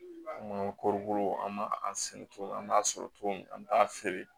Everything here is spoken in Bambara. An ka kɔrɔbɔrɔw an b'a sɛnɛ togo min na an b'a sɔrɔ cogo min an t'a feere